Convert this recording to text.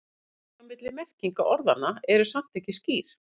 Mörkin á milli merkinga orðanna eru samt ekki skýr.